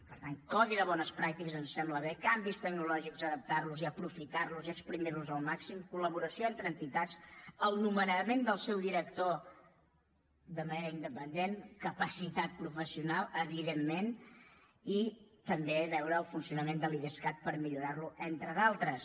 per tant codi de bones pràctiques ens sembla bé canvis tecnològics adaptar los i aprofitar los i esprémer los al màxim col·laboració entre entitats el nomenament dels seu director de manera independent capacitat professional evidentment i també veure el funcionament de l’idescat per millorar lo entre d’altres